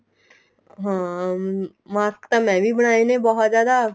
ਹਾਂ mask ਤਾਂ ਮੈਂ ਵੀ ਬਣਾਏ ਨੇ ਬਹੁਤ ਜਿਆਦਾ